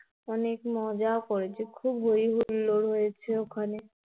অনেক মজাও করেছি. খুব হৈ হুল্লোড় ও হয়েছে ওখানে